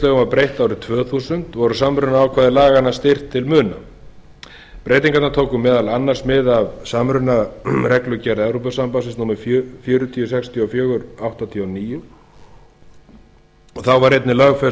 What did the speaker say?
var breytt árið tvö þúsund voru samrunaákvæði laganna styrkt til muna breytingarnar tóku meðal annars mið af samrunareglugerð evrópusambandsins númer fjögur þúsund sextíu og fjögur áttatíu og níu þá var einnig lögfest